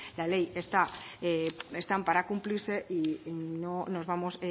la ley está para cumplirse y no nos vamos